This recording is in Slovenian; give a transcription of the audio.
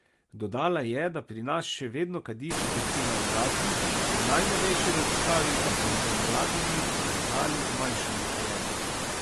Dodala je, da pri nas še vedno kadi četrtina odraslih, v najnovejši raziskavi pa so med mladimi zaznali zmanjšanje kajenja.